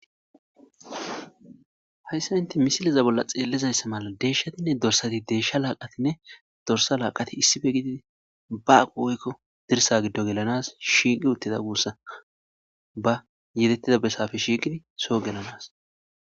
Hayssa inte misiliza bolla xeellizayssa mala deeshshatinne dorsati deeshsha laaqatinne dorsa laaqati issife gidi baaqu woykko dirsa giddo gelanas shiiqi uttida guussa ba yetettida besaafe shiiqidi soo gelanas.